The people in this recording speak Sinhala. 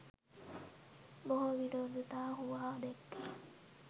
බොහෝ විරෝධතා හුවා දැක්වූයේ